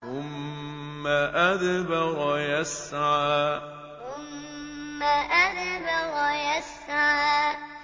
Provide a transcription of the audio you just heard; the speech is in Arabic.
ثُمَّ أَدْبَرَ يَسْعَىٰ ثُمَّ أَدْبَرَ يَسْعَىٰ